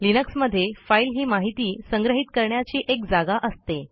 लिनक्समध्ये फाईल ही माहिती संग्रहित करण्याची एक जागा असते